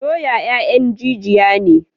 Doya 'ya'yan jijiya ne.